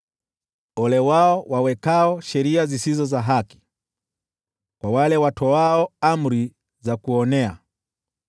Ole wao wawekao sheria zisizo za haki, kwa wale watoao amri za kuonea,